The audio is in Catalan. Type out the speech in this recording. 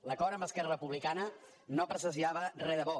l’acord amb esquerra republicana no presagiava re de bo